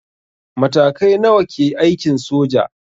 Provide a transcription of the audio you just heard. Matakai nawa ke aikin soja?